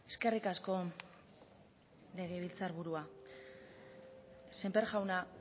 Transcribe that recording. eskerrik asko legebiltzar burua sémper jauna